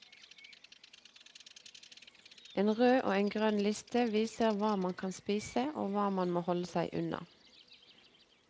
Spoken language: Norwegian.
En rød og en grønn liste viser hva man kan spise og hva man må holde deg unna.